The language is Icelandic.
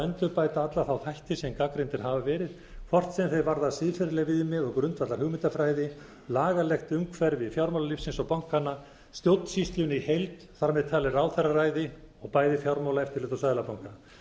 endurbæta alla þá þætti sem gagnrýndir hafa verið hvort sem þeir varða siðferðileg viðmið og grundvallarhugmyndafræði lagalegt umhverfi fjármálalífsins og bankanna stjórnsýsluna í heild þar með talið ráðherraræði og bæði fjármálaeftirlit og seðlabanka